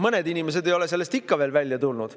Mõned inimesed ei ole sellest ikka veel välja tulnud.